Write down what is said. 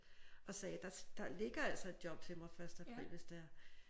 Og sagde der der ligger altså et job til mig første april hvis det er